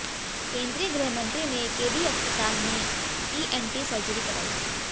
केंद्रीय गृह मंत्री ने केडी अस्पताल में ईएनटी सर्जरी कराई